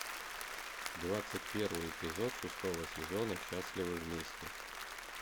двадцать первый эпизод шестого сезона счастливы вместе